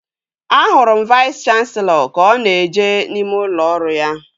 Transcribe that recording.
Ahụrụ m Vais kanselọ ka ọ na-eje n'ime ụlọ ọrụ ya